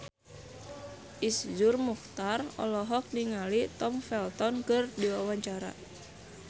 Iszur Muchtar olohok ningali Tom Felton keur diwawancara